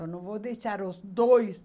Eu não vou deixar os dois.